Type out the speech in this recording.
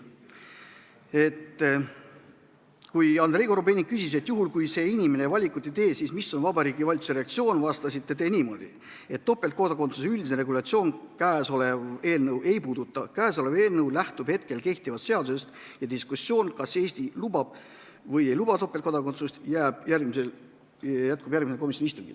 Kui Andrei Korobeinik küsis, et juhul, kui inimene valikut ei tee, siis milline on Vabariigi Valitsuse reaktsioon, vastasite te, et topeltkodakondsuse üldist regulatsiooni käesolev eelnõu ei puuduta ning et käesolev eelnõu lähtub hetkel kehtivast seadusest ja et diskussioon, kas Eesti lubab või ei luba topeltkodakondsust, jätkub järgmisel komisjoni istungil.